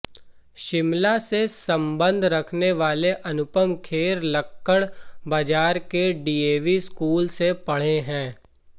शिमला से सम्बंध रखने वाले अनुपम खेर लक्कड़ बाजार के डीएवी स्कूल से पढ़े हैं